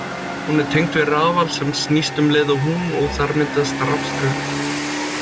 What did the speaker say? Hún er tengd við rafal sem snýst um leið og hún og þar myndast rafstraumur.